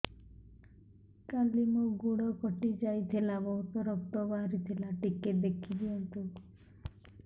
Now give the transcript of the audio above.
କାଲି ମୋ ଗୋଡ଼ କଟି ଯାଇଥିଲା ବହୁତ ରକ୍ତ ବାହାରି ଥିଲା ଟିକେ ଦେଖି ଦିଅନ୍ତୁ